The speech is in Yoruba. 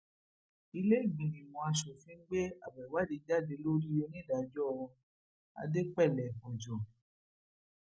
ìlèégbínímọ asòfin gbé abọ ìwádìí jáde lórí onídàájọ adẹpẹlẹ ọjọ